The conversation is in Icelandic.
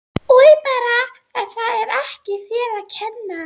Oj bara en það er ekki þér að kenna